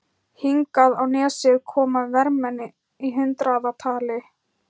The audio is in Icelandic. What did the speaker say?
Hingað á nesið koma vermenn í hundraðatali.